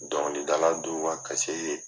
Dɔnkilidala duw ka ye